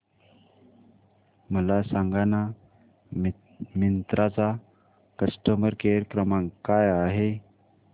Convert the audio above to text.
मला सांगाना मिंत्रा चा कस्टमर केअर क्रमांक काय आहे